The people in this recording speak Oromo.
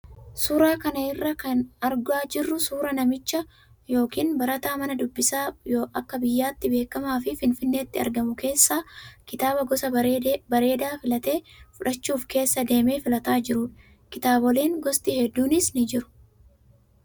Suuraa kana irraa kan argaa jirru suuraa namicha yookaan barataa mana dubbisaa akka biyyaatti beekamaa fi finfinneetti argamu keessaa kitaaba gosa barbaade filatee fudhachuuf keessa deemee filataa jirudha. Kitaaboleen gosti hedduunis jiru.